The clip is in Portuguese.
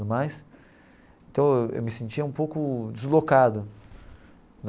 mais então eu me sentia um pouco deslocado.